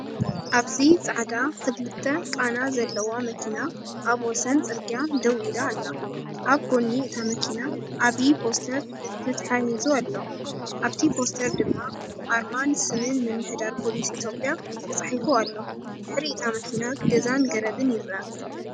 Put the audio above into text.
ኣብዚ ጻዕዳ ክልተ ቃና ዘለዋ መኪና ኣብ ወሰን ጽርግያ ደው ኢላ ኣላ። ኣብ ጎኒ እታ መኪና ዓቢ ፖስተር ተተሓሒዙ ኣሎ፡ ኣብቲ ፖስተር ድማ ኣርማን ስምን ምምሕዳር ፖሊስ ኢትዮጵያ ተጻሒፉ ኣሎ። ብድሕሪ እታ መኪና ገዛን ገረብን ይርአ።